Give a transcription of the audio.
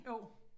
Jo